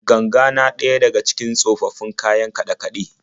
Ganga na daya daga cikin tsofaffin kayan kaɗe-kaɗe.